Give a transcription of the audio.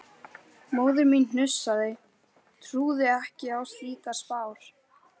Móðir mín hnussaði, trúði ekki á slíkar spár.